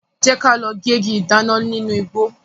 Jẹ́ ka lọ gégi ìdáná nínu igbó.